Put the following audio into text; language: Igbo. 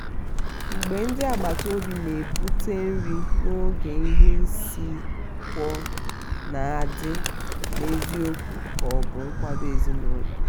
mgbe ndị agbata obi na-ebute nri n'oge ihe isi ikeọ na-adi n'eziokwu ka ọ bụ nkwado ezinụlọ.